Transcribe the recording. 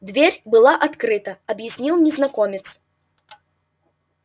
дверь была открыта объяснил незнакомец